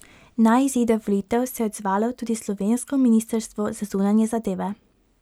Na izide volitev se je odzvalo tudi slovensko ministrstvo za zunanje zadeve.